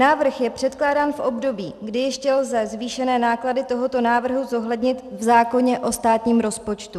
Návrh je předkládán v období, kdy ještě lze zvýšené náklady tohoto návrhu zohlednit v zákoně o státním rozpočtu.